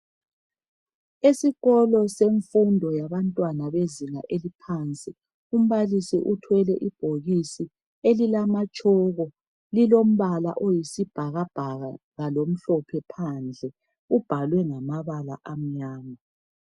Esikolo semfundo yabantwana yezinga eliphansi umbalisi uthwele ebhokisi lamatshoko lilombala oyisibhakabhaka lamhlophe phandle libhalwe ngamabala amnyama.